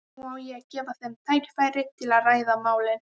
Nú á að gefa þeim tækifæri til að ræða málin.